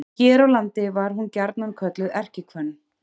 Hér á landi var hún gjarnan kölluð erkihvönn.